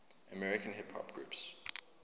american hip hop groups